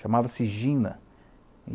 Chamava-se Gina.